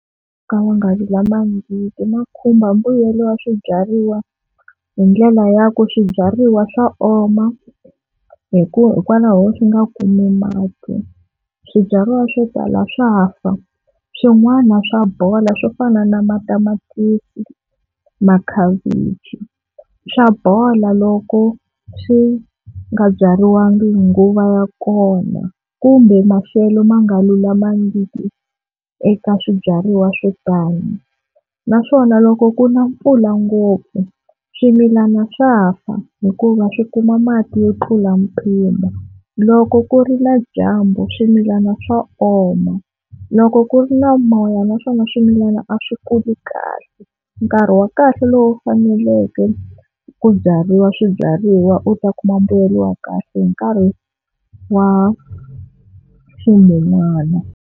ya khumba mbuyelo wa swibyariwa hi ndlela ya ku swibyariwa swa oma hi ku hikwalaho swi nga kumi mati. Swibyariwa swo tala swa fa swin'wana swa bola swo fana na matamatisi, makhavichi swa bola loko swi nga byariwangi hi nguva ya kona kumbe maxelo ma nga lulamangiki eka swibyariwa swo tani, naswona loko ku na mpfula ngopfu swimilana swa fa hikuva swi kuma mati yo tlula mpimo. Loko ku ri na dyambu swimilana swa oma, loko ku ri na moya naswona swimilana a swi kuli kahle. Nkarhi wa kahle lowu faneleke ku byariwa swibyariwa u ta kuma mbuyelo wa kahle i nkarhi wa ximun'wana.